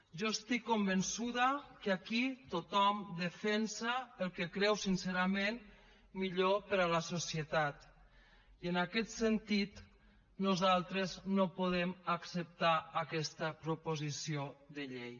jo estic convençuda que aquí tothom defensa el que creu sincerament millor per a la societat i en aquest sentit nosaltres no podem acceptar aquesta proposició de llei